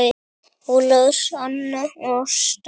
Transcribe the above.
Ólafur, Anna og Ásta.